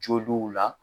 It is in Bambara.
Joliw la